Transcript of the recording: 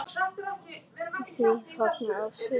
Því var fagnað af sumum.